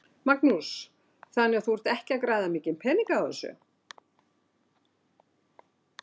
Magnús: Þannig að þú ert ekki að græða mikinn pening á þessu?